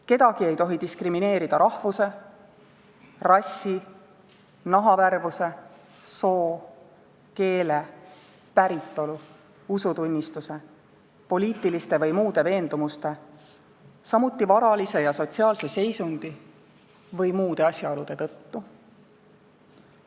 Kedagi ei tohi diskrimineerida rahvuse, rassi, nahavärvuse, soo, keele, päritolu, usutunnistuse, poliitiliste või muude veendumuste, samuti varalise ja sotsiaalse seisundi või muude asjaolude tõttu.